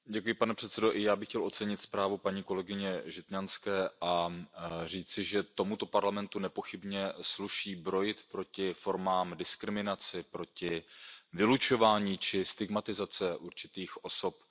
Pane předsedající, i já bych chtěl ocenit zprávu paní kolegyně Žitňanské a říci, že tomuto Parlamentu nepochybně sluší brojit proti formám diskriminace, proti vylučování či stigmatizaci určitých osob.